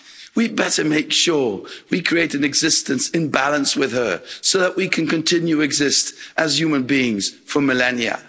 We'd better make sure we create an existence in balance with her so that we can continue to exist as human beings for millennia.